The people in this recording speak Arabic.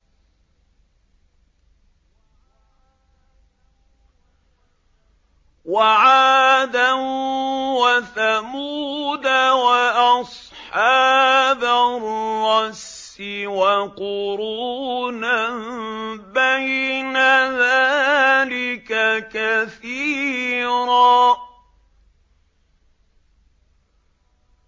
وَعَادًا وَثَمُودَ وَأَصْحَابَ الرَّسِّ وَقُرُونًا بَيْنَ ذَٰلِكَ كَثِيرًا